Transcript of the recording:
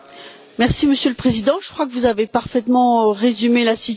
Monsieur le Président, je crois que vous avez parfaitement résumé la situation.